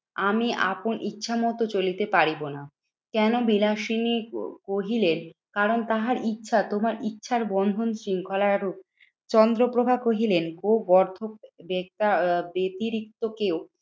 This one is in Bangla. আমি আপন ইচ্ছা মতন চলিতে পারিব না। কেন বিলাসিনী ক কহিলেন? কারণ তাহার ইচ্ছা তোমার ইচ্ছার বন্ধন শৃঙ্খলার রূপ। চন্দ্রপ্রভা কহিলেন ও গর্ধব ব্যতিরিক্ত কেউ